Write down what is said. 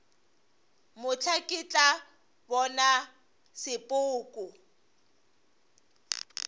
mohla ke tla bona sepoko